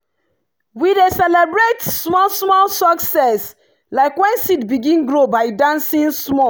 we dey celebrate small-small success like when seed begin grow by dancing small.